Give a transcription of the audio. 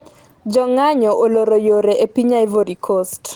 jo ng'anyo oloro yore e piny Ivory Coast